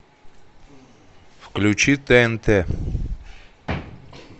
включи тнт